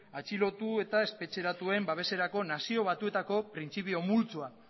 atxilotu eta espetxeratuen babeserako nazio batuetako printzipio multzoa